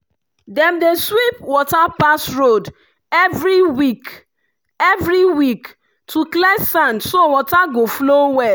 dem dey sweep water pass road every week every week to clear sand so water go flow well.